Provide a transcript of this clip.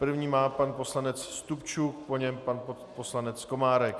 První má pan poslanec Stupčuk, po něm pan poslanec Komárek.